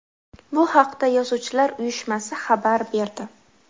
Bu haqda Yozuvchilar uyushmasi xabar berdi .